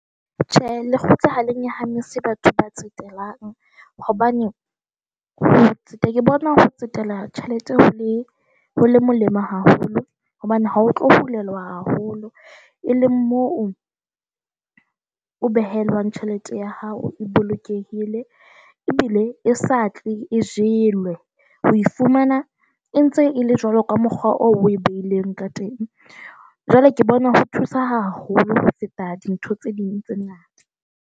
Tjhe, lekgotla ha le nyahamisi batho ba tsetelang hobane ha ke bona ho tsetela tjhelete ho le ho molemo haholo hobane ha o tlo bulelwa haholo, e leng moo o behelwang tjhelete ya hao e bolokehile ebile e sa tle e jelwe ho fumana e ntse e le jwalo ka mokgwa o e beileng ka teng. Jwale ke bona ho thusa haholo ho feta dintho tse ding tse na .